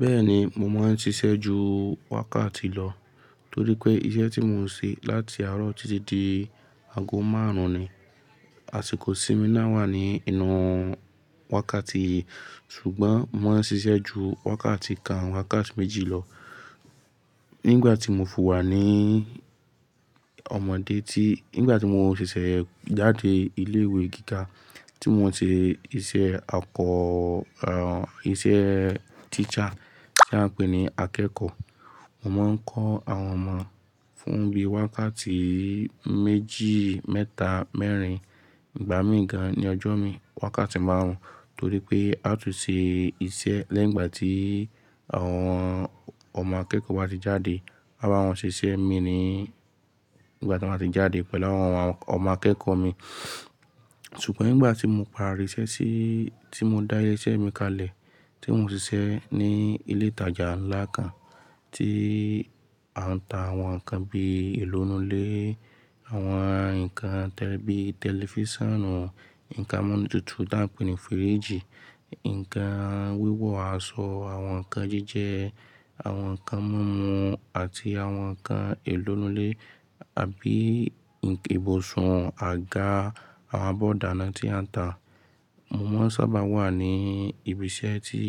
Bẹ́ẹ̀ni, mo máa ń ṣiṣẹ́ ju wákàtí lọ, torí pé iṣẹ́ tí mò ń ṣe láti àárọ̀ títí di ago márùn-ún ni, àsìkò ìsinmi náà wà ní inú wákàtí yìí, ṣùgbọ́n mo máa ń ṣiṣẹ́ ju wákàtí kan wákàtí méjì lọ. Nígbà tí mo fi wà ní ọmọdé tí-- nígbà tí mo ń ṣiṣẹ́ jáde ilé ìwé gíga tí mo n ṣe iṣẹ́ akọ, er, iṣẹ́ teacher tí a ń pè ní akẹ́kọ̀ọ́, mo máa ń kọ́ àwọn ọmọ fún bí wákàtí méjì, mẹ́ta, mẹ́rin, ìgbà mí ì gan ní ọjọ́ mi, wákàtí máarùn, torí pé a á tún ṣe iṣẹ́ lẹ́yìn ìgbà tí àwọn ọmọ akẹ́kọ̀ọ́ bá ti jáde. A báwọn ṣiṣẹ́ ìmíì ni ìgbà tí wọ́n ti jáde pẹ̀lú àwọn ọmọ akẹ́kọ̀ọ́ mi. Ṣùgbọ́n nígbà tí mo padà ríṣẹ́ sí, tí mo dá ilé iṣẹ́ mi kalẹ̀, tí mò ń ṣiṣẹ́ ní ilé ìtajà ńlá kan tí a ń ta àwọn nǹkan bí èlò inú ilẹ́. Àwọn nǹkan tẹ́li bí tẹlifíṣànù, nǹkan amúnútutù tí a ń pè ní fíríìjì, nǹkan wíwọ̀ aṣọ, àwọn nǹkan jíjẹ, àwọn nǹkan mọ́mọ́ àti àwọn nǹkan ìèlò inú ilé àbí ìbùsùn àga, àwọn abọ́ ìdánná tí a ń tà. Mo máa sábà wà ní ibi iṣẹ́ tí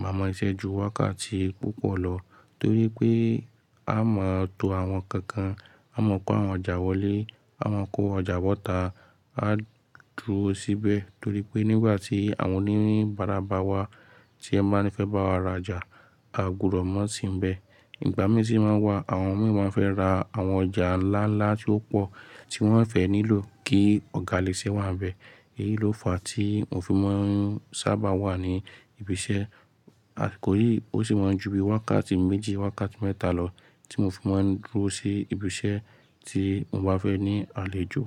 màá mọ siṣẹ́ ju wákàtí púpọ̀ lọ, torí pé a máa tó àwọn nǹkan kan, a máa kó àwọn ọjà wọlé, a máa kó ọjà bọ́ta, á dúró síbẹ̀ torí pé nígbà tí àwọn oníbárà bá wa tí wọ́n máa ń fẹ́ bá wa ra ọjà, a gbúdọ̀ mọ́ sínbẹ̀. Ìgbà mí sí màá n wà, àwọn míì má n fẹ́ ra àwọn ọjà ńlá ńlá tí ó pọ̀ tí wọ́n ó fẹ́ nílò kí ọ̀gá ilé iṣẹ́ wà níbẹ̀. Èyí ló fàá tí mo fi máa ń sábà wà ní ibi iṣẹ́. Àsìkò yí, ó sì máa ń ju bí wákàtí méjì, wákàtí mẹ́ta lọ tí mo fi máa ń dúró sí ibi iṣẹ́ tí mo bá fẹ́ ní àlejò.